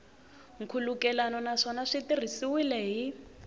nkhulukelano naswona swi tirhisiwile hi